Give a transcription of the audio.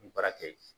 Baara kɛ yen